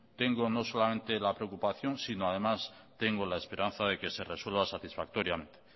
tengo no solamente la preocupación sino además tengo la esperanza de que se resuelva satisfactoriamente